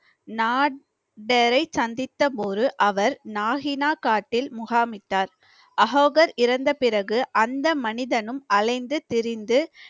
நாட்டினரை சந்தித்த போது அவர் நாகினா காட்டில் முகாமிட்டார் அகோகர் இறந்த பிறகு அந்த மனிதனும் அலைந்து திரிந்து